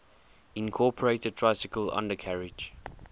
incorporated tricycle undercarriage